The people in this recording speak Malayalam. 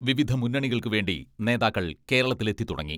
വിവിധ മുന്നണികൾക്കുവേണ്ടി നേതാക്കൾ കേരളത്തിൽ എത്തിത്തുടങ്ങി.